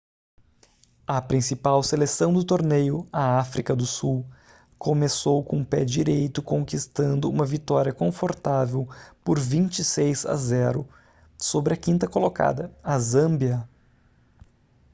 a principal seleção do torneio a áfrica do sul começou com pé direito conquistando uma vitória confortável por 26 a 0 sobre a 5ª colocada a zâmbia